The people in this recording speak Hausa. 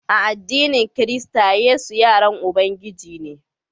A addinin kirista Yesu yaron Ubangiji ne